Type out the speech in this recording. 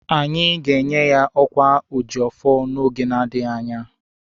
Anyị ga-enye ya ọkwa oji ọfọ n'oge na-adịghi anya.